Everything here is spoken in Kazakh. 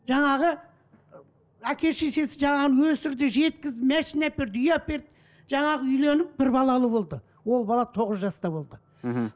жаңағы әке шешесі жаңағыны өсірді жеткізді машина әперді үй әперді жаңағы үйленіп бір балалы болды ол бала тоғыз жаста болды мхм